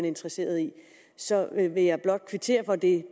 interesseret i så vil jeg blot kvittere for det